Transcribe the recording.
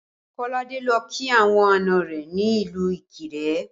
Kolade lọ kí àwọn àná rẹ ní ìlú Ikire